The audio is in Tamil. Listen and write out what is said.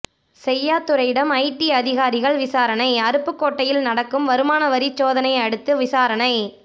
செய்யாதுரையிடம் ஐடி அதிகாரிகள் விசாரணை அருப்புக்கோட்டையில் நடக்கும் வருமான வரி சோதனையை அடுத்து விசாரணை